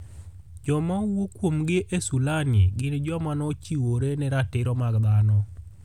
Joma owuo kuomgi e sulani gin joma nochiwore ne Ratiro mag Dhano.